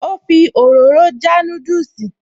Ó fi òróró já núdùsì